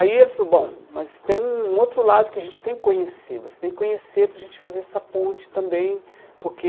Aí ele falou, bom, mas tem um um outro lado que a gente tem que conhecer, você tem que conhecer para a gente fazer essa ponte também, porque...